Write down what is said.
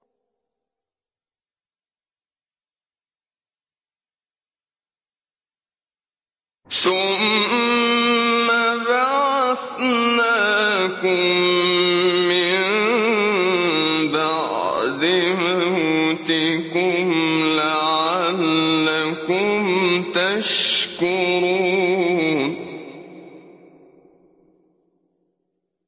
ثُمَّ بَعَثْنَاكُم مِّن بَعْدِ مَوْتِكُمْ لَعَلَّكُمْ تَشْكُرُونَ